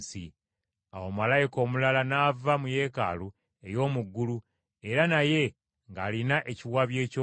Awo malayika omulala n’ava mu Yeekaalu ey’omu ggulu era naye ng’alina ekiwabyo ekyogi.